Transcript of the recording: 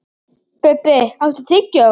Bubbi, áttu tyggjó?